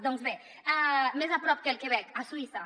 doncs bé més a prop que el quebec a suïssa